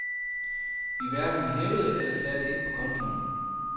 Vi hverken hævede eller satte ind på kontoen.